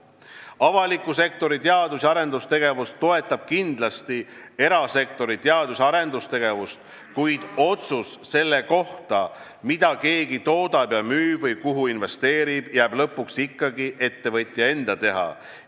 Avaliku sektori teadus- ja arendustegevus toetab kindlasti erasektori teadus- ja arendustegevust, kuid otsus selle kohta, mida keegi toodab ja müüb või kuhu investeerib, jääb lõpuks ikkagi ettevõtja enda teha.